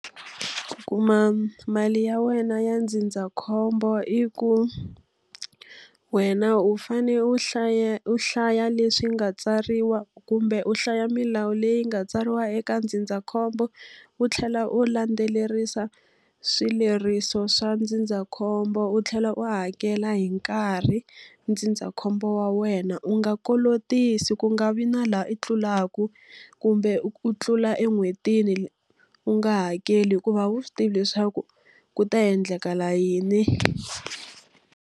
Kuma mali ya wena ya ndzindzakhombo i ku, wena u fanele u hlaya u hlaya leswi nga tsariwa kumbe u hlaya milawu leyi nga tsariwa eka ndzindzakhombo, u tlhela u landzelerisa swileriso swa ndzindzakhombo. U tlhela u hakela hi nkarhi ndzindzakhombo wa wena. U nga kolotisi, ku nga vi na laha i tlulaka. Kumbe u tlula en'hwetini u nga hakeli hikuva a wu swi tivi leswaku ku ta endleka yini.